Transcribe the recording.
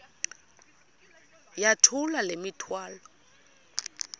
yithula le mithwalo